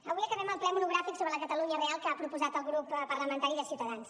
avui acabem el ple monogràfic sobre la catalunya real que ha proposat el grup parlamentari de ciutadans